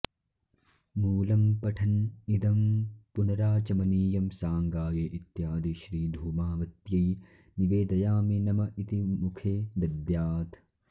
मूलम्पठन् इदम्पुनराचमनीयं साङ्गायै इत्यादि श्रीधूमावत्यै निवेदयामि नम इति मुखे दद्यात्